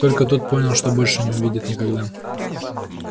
только тут понял что больше не увидит никогда